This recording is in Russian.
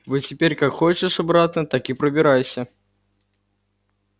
вот теперь как хочешь обратно так и пробирайся